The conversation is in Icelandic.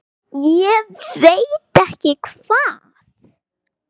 Ég veit ekki hvað